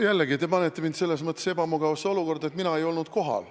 Jällegi, te panete mind selles mõttes ebamugavasse olukorda, et mina ei olnud kohal.